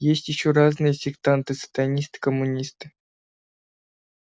есть ещё разные сектанты сатанисты коммунисты